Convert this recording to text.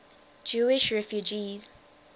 jewish refugees